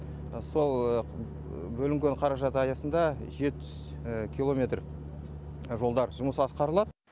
сол бөлінген қаражат аясында жеті жүз километр жолда жұмыс атқарылады